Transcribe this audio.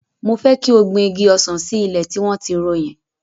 Mo fẹ́ kí o gbin igi ọsàn sí ilẹ̀ tí wọ́n ti ro yẹn.